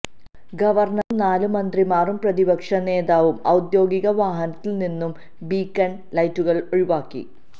ഗവർണറും നാല് മന്ത്രിമാരും പ്രതിപക്ഷനേതാവും ഒദ്യോഗിക വാഹനത്തിൽനിന്ന് ബീക്കൺ ലൈറ്റുകൾ ഒഴിവാക്കി